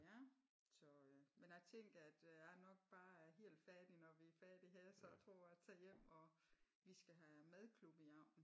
Ja så men a tænker at a nok bare er helt færdig når vi er færdige her så a tror a tager hjem og vi skal have madklub i aften